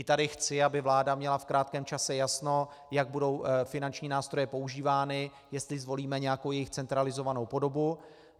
I tady chci, aby vláda měla v krátkém čase jasno, jak budou finanční nástroje používány, jestli zvolíme nějakou jejich centralizovanou podobu.